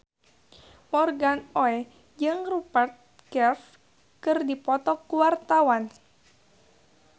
Morgan Oey jeung Rupert Graves keur dipoto ku wartawan